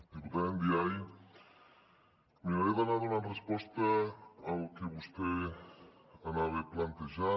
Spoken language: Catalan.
diputada ndiaye miraré d’anar donant resposta al que vostè anava plantejant